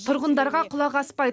тұрғындарға құлақ аспайды